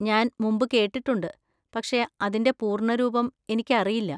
ഞാൻ മുമ്പ് കേട്ടിട്ടുണ്ട്, പക്ഷേ അതിന്‍റെ പൂര്‍ണ്ണരൂപം എനിക്കറിയില്ല.